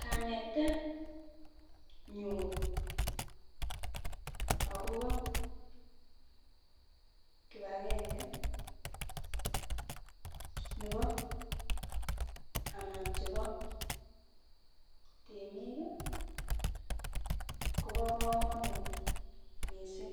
Kanetet nyun akobo kipagenge nebo anan chebo temik kii Kobo komonut missing